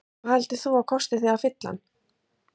Sigríður: Hvað heldur þú að kosti þig að fylla hann?